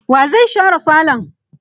wa zai share falon?